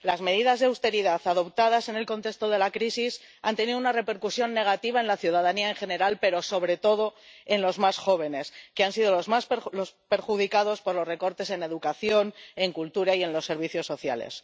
Las medidas de austeridad adoptadas en el contexto de la crisis han tenido una repercusión negativa en la ciudadanía en general, pero, sobre todo, en los más jóvenes, que han sido los más perjudicados por los recortes en educación, en cultura y en servicios sociales.